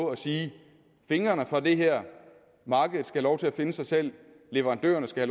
at sige fingrene fra det her markedet skal have lov til at finde sig selv leverandørerne skal